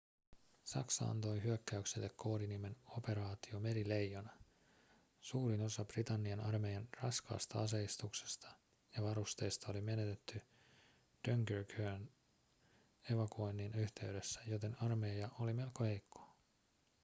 saksa antoi hyökkäykselle koodinimen operaatio merileijona suurin osa britannian armeijan raskaasta aseistuksesta ja varusteista oli menetetty dunkerquen evakuoinnin yhteydessä joten armeija oli melko heikko